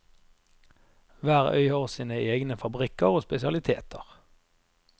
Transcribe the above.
Hver øy har sine egne fabrikker og spesialiteter.